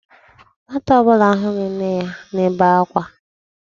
Nwata ọ bụla ahụghị nne ya nebe akwa.